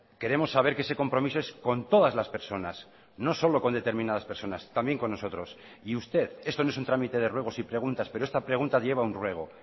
queremos saber que ese compromiso es con todas las personas no solo con determinadas personas también con nosotros y usted esto no es un trámite de ruegos y preguntas pero esta pregunta lleva a un ruego